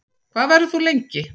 Hvað verður þú lengi?